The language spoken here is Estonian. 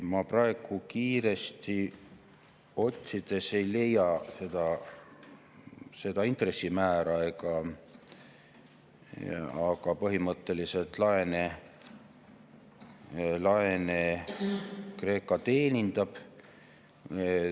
Ma praegu kiiresti otsides ei leia seda intressimäära, aga põhimõtteliselt laene Kreeka teenindab.